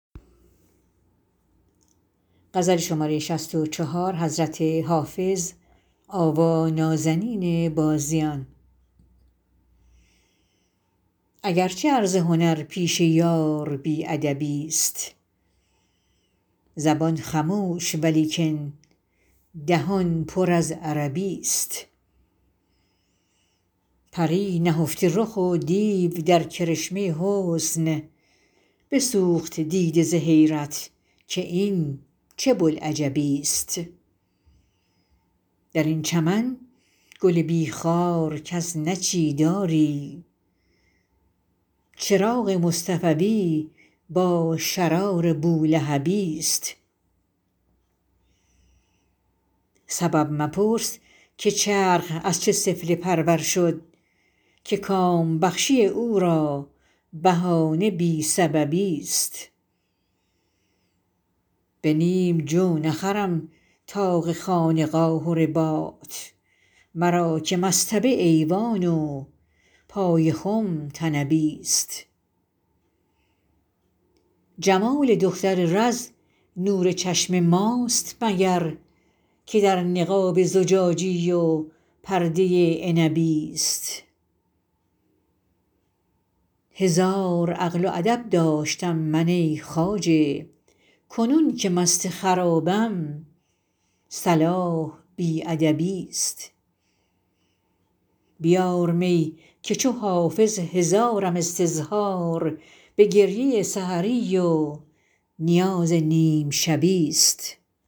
اگر چه عرض هنر پیش یار بی ادبی ست زبان خموش ولیکن دهان پر از عربی ست پری نهفته رخ و دیو در کرشمه حسن بسوخت دیده ز حیرت که این چه بوالعجبی ست در این چمن گل بی خار کس نچید آری چراغ مصطفوی با شرار بولهبی ست سبب مپرس که چرخ از چه سفله پرور شد که کام بخشی او را بهانه بی سببی ست به نیم جو نخرم طاق خانقاه و رباط مرا که مصطبه ایوان و پای خم طنبی ست جمال دختر رز نور چشم ماست مگر که در نقاب زجاجی و پرده عنبی ست هزار عقل و ادب داشتم من ای خواجه کنون که مست خرابم صلاح بی ادبی ست بیار می که چو حافظ هزارم استظهار به گریه سحری و نیاز نیم شبی ست